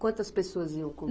Quantas pessoas iam com